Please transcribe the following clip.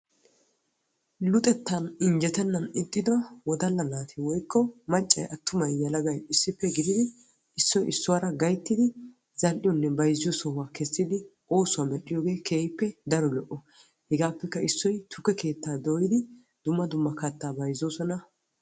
Luxettan injjetenan ixxiddo wodalla naati woykko macay atumay issoy issuwara gididdi zal'iyonne bayzziyo sohuwa medhiddi oosuwa medhiyooge hegaappe issoy tukke dooyiddi katta bayzzosonna.